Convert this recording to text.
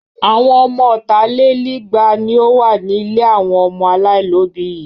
Àwọn ọmọ ọ̀tàlélígba ni ó wà ní ilé àwọn ọmọ aláìlóòbí yìí.